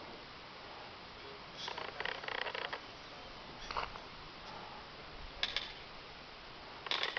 yokuhlala yakanomphela umntwana